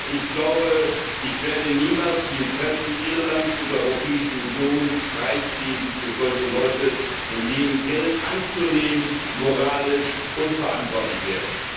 Ich glaube, ich werde niemals die Interessen Irlands und der Europäischen Union preisgeben für solche Leute, von denen Geld anzunehmen moralisch unverantwortlich wäre.